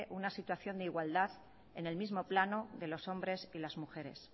una situación de igualdad en el mismo plano de los hombres y las mujeres